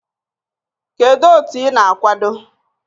Kedu otu ị na-akwado?